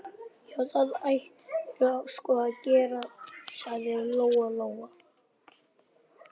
Já, það ættirðu sko að gera, sagði Lóa Lóa.